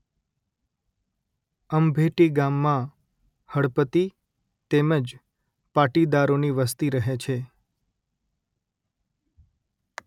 અંભેટી ગામમાં હળપતિ તેમ જ પાટીદારોની વસ્તી રહે છે